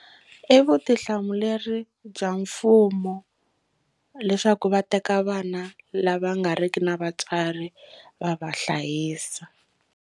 I vutihlamuleri bya mfumo leswaku va teka vana lava nga ri ki na vatswari va va hlayisa.